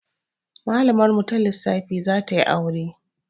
Malamar mu ta lissafi zatayi aure